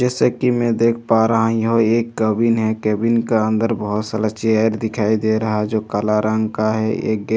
जैसा कि मैं देख पा रहा हूँ यह एक केबिन है केबिन का अंदर बहोत सारा चेयर दिखाई दे रहा है जो काला रंग का है एक गे --